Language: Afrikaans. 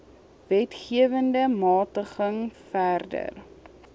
wetgewende magtiging verder